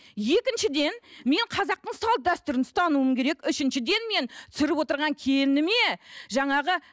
екіншіден мен қазақтың салт дәстүрін ұстануым керек үшіншіден мен түсіріп отырған келініме жаңағы